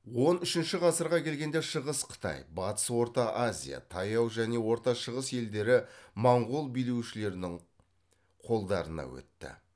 он үшінші ғасырға келгенде шығыс қытай батыс орта азия таяу және орта шығыс елдері монғол билеушілерінің қолдарына өтті